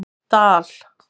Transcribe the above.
Dal